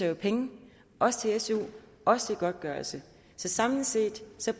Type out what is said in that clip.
jo penge også til su også til godtgørelse så samlet set